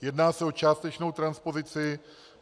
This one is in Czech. Jedná se o částečnou transpozici.